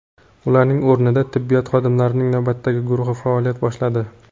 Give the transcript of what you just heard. Ularning o‘rnida tibbiyot xodimlarining navbatdagi guruhi faoliyat boshladi.